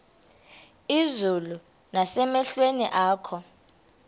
izulu nasemehlweni akho